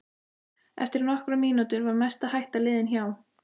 Eftir nokkrar mínútur var mesta hætta liðin hjá.